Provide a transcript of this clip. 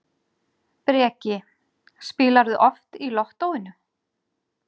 Breki: Spilarðu oft í Lottóinu?